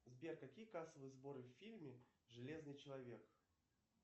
сбер какие кассовые сборы в фильме железный человек